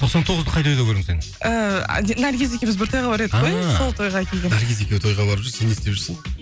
тоқсан тоғызды қай тойда көрдің сен ыыы наргиз екеуміз бір тойға барып едік қой ыыы сол тойға келген наргиз екеуі тойға барып жүр сен не істеп жүрсің